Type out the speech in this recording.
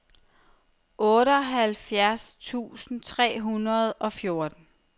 otteoghalvfjerds tusind tre hundrede og fjorten